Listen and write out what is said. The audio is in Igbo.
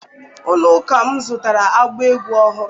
Ụlọ ụka m zụtara ịgba egwu ọhụrụ.